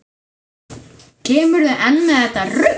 Kemurðu enn með þetta rugl!